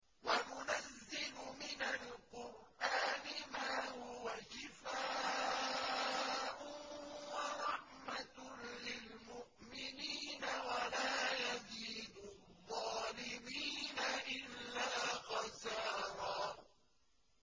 وَنُنَزِّلُ مِنَ الْقُرْآنِ مَا هُوَ شِفَاءٌ وَرَحْمَةٌ لِّلْمُؤْمِنِينَ ۙ وَلَا يَزِيدُ الظَّالِمِينَ إِلَّا خَسَارًا